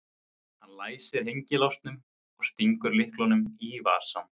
Hann læsir hengilásnum og stingur lyklinum í vasann.